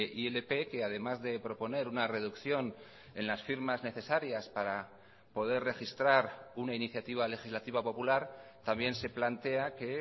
ilp que además de proponer una reducción en las firmas necesarias para poder registrar una iniciativa legislativa popular también se plantea que